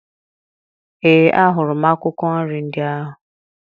Ee, ahụrụ m akwụkwọ nri ndị ahụ